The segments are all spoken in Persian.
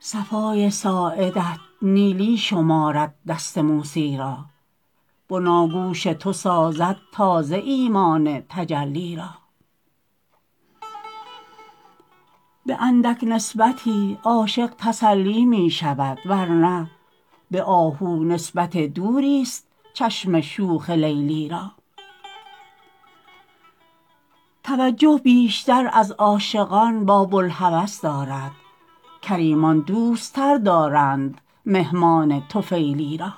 صفای ساعدت نیلی شمارد دست موسی را بناگوش تو سازد تازه ایمان تجلی را به اندک نسبتی عاشق تسلی می شود ور نه به آهو نسبت دوری است چشم شوخ لیلی را توجه بیشتر از عاشقان با بوالهوس دارد کریمان دوستتر دارند مهمان طفیلی را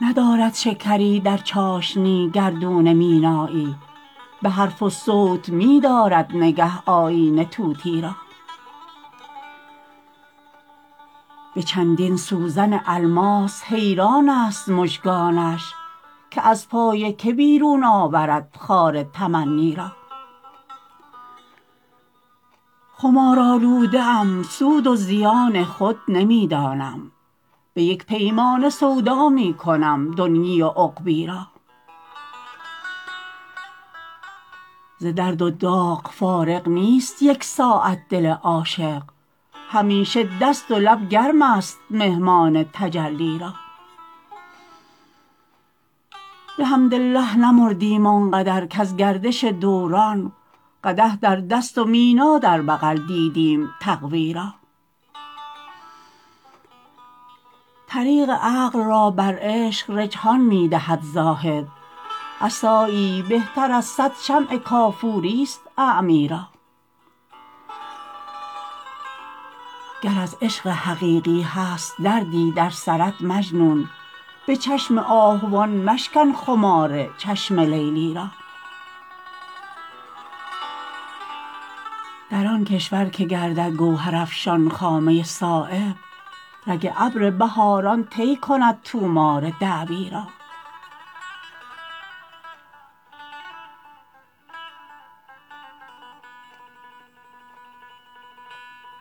ندارد شکری در چاشنی گردون مینایی به حرف و صوت می دارد نگه آیینه طوطی را به چندین سوزن الماس حیران است مژگانش که از پای که بیرون آورد خار تمنی را خمار آلوده ام سود و زیان خود نمی دانم به یک پیمانه سودا می کنم دنیی و عقبی را ز درد و داغ فارغ نیست یک ساعت دل عاشق همیشه دست و لب گرم است مهمان تجلی را بحمدالله نمردیم آنقدر کز گردش دوران قدح در دست و مینا در بغل دیدیم تقوی را طریق عقل را بر عشق رجحان می دهد زاهد عصایی بهتر از صد شمع کافوری است اعمی را گر از عشق حقیقی هست دردی در سرت مجنون به چشم آهوان مشکن خمار چشم لیلی را در آن کشور که گردد گوهر افشان خامه صایب رگ ابر بهاران طی کند طومار دعوی را